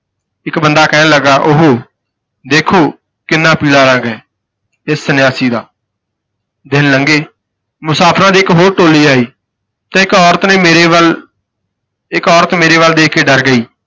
ਇੱਕ ਬੰਦਾ ਕਹਿਣ ਲੱਗਾ ਉਹ ਹੋ ਦੇਖੋ ਕਿੰਨਾ ਪੀਲਾ ਰੰਗ ਹੈ, ਇਸ ਸੰਨਿਆਸੀ ਦਾ, ਦਿਨ ਲੰਘੇ ਮੁਸਾਫ਼ਰਾਂ ਦੀ ਇੱਕ ਹੋਰ ਟੋਲੀ ਆਈ ਤੇ ਇੱਕ ਔਰਤ ਨੇ ਮੇਰੇ ਵੱਲ ਇੱਕ ਔਰਤ ਮੇਰੇ ਵੱਲ ਦੇਖ ਕੇ ਡਰ ਗਈ।